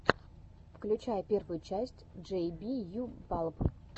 включай первую часть джей би ю балб